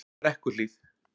Brekkuhlíð